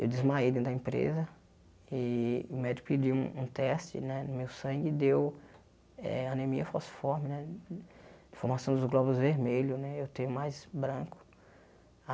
Eu desmaiei dentro da empresa e o médico pediu um um teste né no meu sangue e deu eh anemia fosforme né, formação dos glóbulos vermelhos né, eu tenho mais branco.